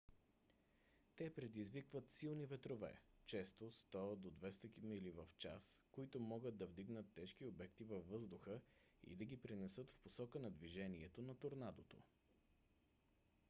те предизвикват силни ветрове често 100 – 200 мили/час които могат да вдигнат тежки обекти във въздуха и да ги пренесат в посока на движението на торнадото